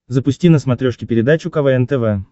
запусти на смотрешке передачу квн тв